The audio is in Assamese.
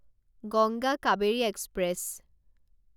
গংগা কাবেৰী এক্সপ্ৰেছ